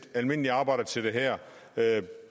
almindelige arbejdere til det her